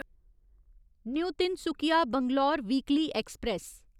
new Tinsukia Bangalore weekly express